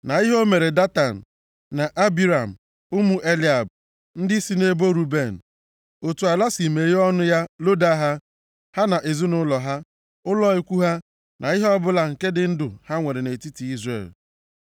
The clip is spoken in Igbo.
na ihe o mere Datan na Abiram, ụmụ Eliab, ndị si nʼebo Ruben, otu ala si meghee ọnụ ya loda ha, ha na ezinaụlọ ha, ụlọ ikwu ha na ihe ọbụla nke dị ndụ ha nwere nʼetiti Izrel niile.